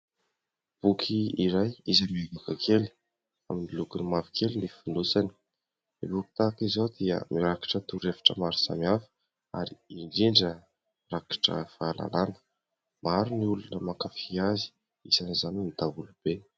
Boky iray izay miavaka kely, amin'ny lokony mavokely ny fonosany. Ny boky tahaka izao dia mirakitra toro-hevitra maro samihafa ary indrindra rakotra fahalalàna. Maro ny olona mankafy azy, isan'izany ny daholobe.